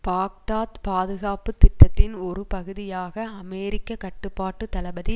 Baghdad பாதுகாப்பு திட்டத்தின் ஒரு பகுதியாக அமெரிக்க கட்டுப்பாட்டு தளபதி